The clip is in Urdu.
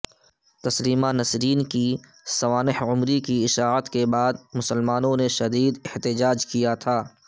تسلیمہ نسرین کی سوانح عمری کی اشاعت کے بعد مسلمانوں نے شدید احتجاج کیا تھا